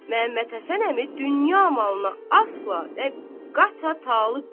Məhəmməd Həsən əmi dünya malına əsla və qəti talib deyil.